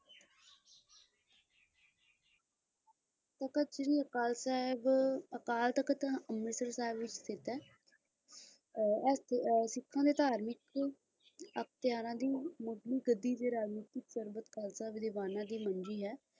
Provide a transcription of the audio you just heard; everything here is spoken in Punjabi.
ਤਖਤ ਸ਼੍ਰੀ ਅਕਾਲ ਸਾਹਿਬ ਅਕਾਲ ਤਖਤ ਅੰਮ੍ਰਿਤਸਰ ਵਿੱਚ ਸਥਿਤ ਹੈ ਸਿੱਖਾਂ ਦੇ ਘਰ ਵਿਚ ਧਾਰਮਿਕ ਅਖ਼ਤਿਆਰਾਂ ਦੀ ਮਹਿਕਦੀ ਦੀ ਰਾਜਨੀਤਕ ਪਰਪੱਕਤਾ ਵਿਦਵਾਨਾਂ ਦੀ ਹੁੰਦੀ ਹੈ